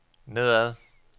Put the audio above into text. nedad